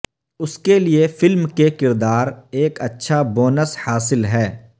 اس کے لئے فلم کے کردار ایک اچھا بونس حاصل ہے